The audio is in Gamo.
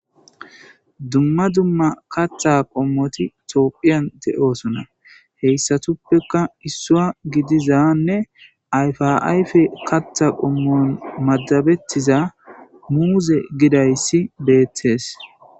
Dumma dumma katta qommoti tophiyan de'osona heyssatuppeka issua gidizanne ayfaayfe kattha qommon madabettiza muuze gidayssi beettees.i